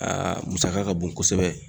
musaka ka bon kosɛbɛ.